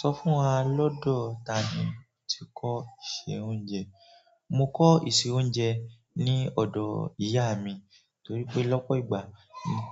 Sọ fún wa lọ́dọ tani o ti kọ́ ìṣe oúnjẹ? Mo kọ́ ìṣe oúnjẹ ní ọ̀dọ̀ ìyá mi torí pé lọ́pọ̀ ìgbà